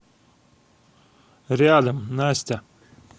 рядом настя